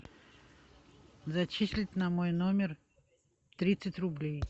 зачислить на мой номер тридцать рублей